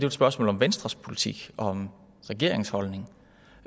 et spørgsmål om venstres politik og om regeringens holdning